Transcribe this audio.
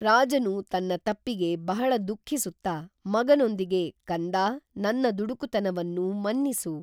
ರಾಜನು ತನ್ನ ತಪ್ಪಿಗೆ ಬಹಳ ದುಃಖಿಸುತ್ತ ಮಗನೊಂದಿಗೆ ಕಂದಾ, ನನ್ನ ದುಡುಕುತನವನ್ನು ಮನ್ನಿಸು